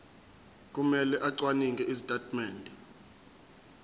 kumele acwaninge izitatimende